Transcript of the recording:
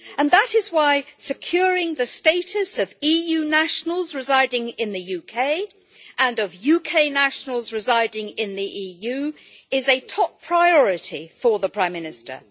That is why securing the status of EU nationals residing in the UK, and of UK nationals residing in the EU, is a top priority for the Prime Minister.